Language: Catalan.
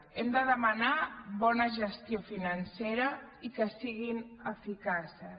hem de demanar bona gestió financera i que siguin eficaces